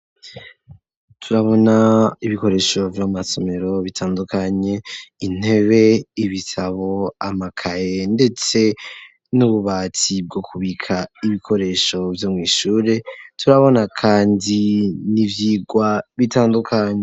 Turabona ibikoresho vyo mumasomero bitandukanye intebe, ibitabo, amakaye ndetse n'ububati bwo kubika ibikoresho vyo mw’ishure, turabona kandi n'ivyigwa bitandukanye.